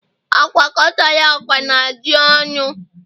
Agwakọtala agwa na ji ọnụ!